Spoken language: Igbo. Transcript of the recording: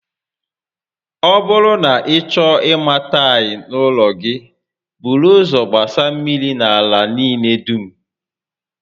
Ọ bụrụ na ị chọọ ima tails n'ụlọ gi, buru ụzọ gbasa mmiri na ala niile dum